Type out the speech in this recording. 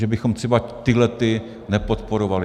Že bychom třeba tyhlety nepodporovali.